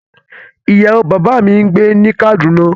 Iyawo baba mi n gbe ni Kaduna